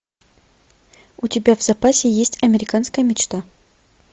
у тебя в запасе есть американская мечта